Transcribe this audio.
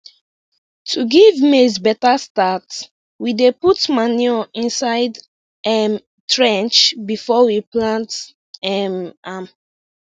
to give maize better start we dey put manure inside um trench before we plant um am